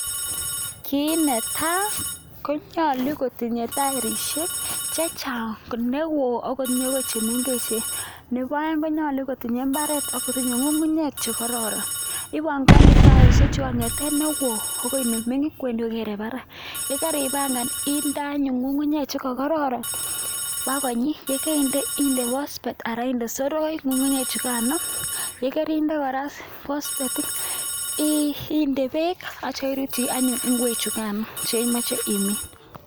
Kit netai konyolu kotinye tairisiek chechang. Newo akoi chemengechen ,nebo oeng konyolu kotinye imbaret ak kotinye ngungunyek che kororon. Ipongoni tairisichu kongeten newoo akoi nemingin kowendi kogere barak. Yekaripangan indee anyone ngungunyek che kororon, back konyii. Ye keinde inde phosphate .Ana inde soroik ngungunyek chukanoo, yekerinde kora soroik indeed beek ak yeityoo irutyii anyun ingwekchukanoo.